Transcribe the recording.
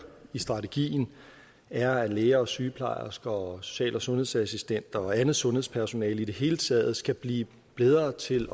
i strategien er at læger og sygeplejersker og social og sundhedsassistenter og andet sundhedspersonale i det hele taget skal blive bedre til